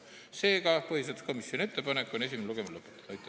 Seega, põhiseaduskomisjoni ettepanek on esimene lugemine lõpetada.